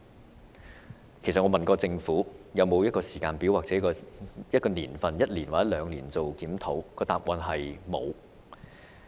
我曾經詢問政府是否已有時間表，會否在一年或兩年後進行檢討，但答案是"沒有"。